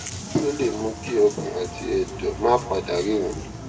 kí ló lè mú kí ọkàn àti èdò máa pa dà ríran